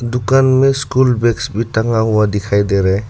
दुकान में school bags भी टंगा हुआ दिखाई दे रहा है।